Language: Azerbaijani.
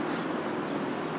Amma bu dəqiqə.